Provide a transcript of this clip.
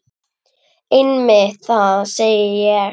Einmitt það, segi ég.